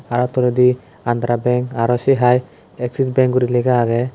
aro toledi andhra bank aro sa hai axis bank gori lega aage.